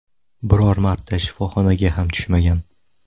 Biror marta shifoxonaga ham tushmagan.